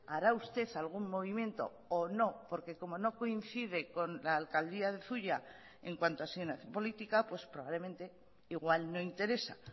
hará usted algún movimiento o no porque como no coincide con la alcaldía de zuia en cuanto a política pues probablemente igual no interesa